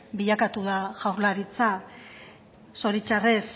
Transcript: bilakatu da jaurlaritza zoritxarrez